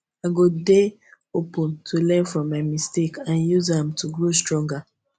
i go dey open to learn from my mistakes and use am to grow stronger